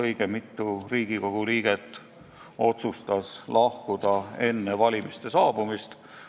Õige mitu Riigikogu liiget otsustas lahkuda enne valimiste saabumist.